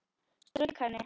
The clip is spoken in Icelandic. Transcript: Strauk henni.